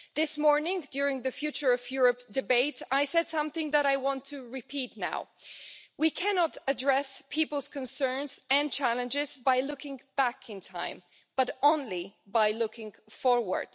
This morning, during the Future of Europe debate, I said something that I want to repeat now we cannot address people's concerns and challenges by looking back in time, but only by looking forward.